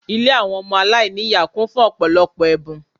Ilé àwọn ọmọ aláìní ìyá kún fún ọ̀pọ̀lọpọ̀ ẹ̀bùn